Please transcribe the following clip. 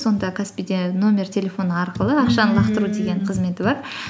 сонда каспи де номер телефона арқылы ақшаны лақтыру деген қызметі бар